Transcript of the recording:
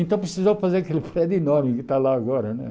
Então precisou fazer aquele prédio enorme que está lá agora né.